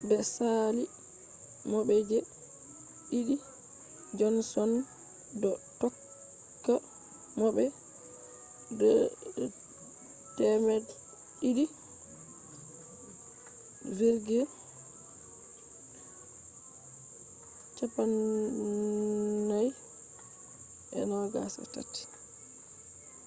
be saali mo be je-didi johnson do tokka mo be 2,243